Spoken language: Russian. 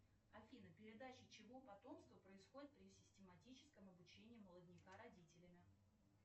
афина передача чьего потомства происходит при систематическом обучение молодняка родителями